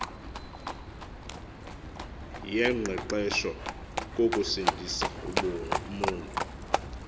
yengqeqesho kokusindisa umoni